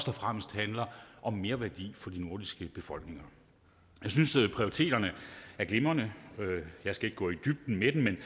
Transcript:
og fremmest handler om merværdi for de nordiske befolkninger jeg synes prioriteterne er glimrende jeg skal ikke gå i dybden med dem men